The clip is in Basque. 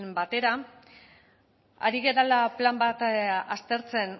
batera ari garela plan bat aztertzen